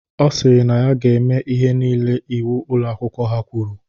Ọ sịrị na ya ga-eme ihe nile iwu Ụlọ akwụkwọ ha kwuru.